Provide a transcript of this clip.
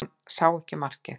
Hann sá ekki markið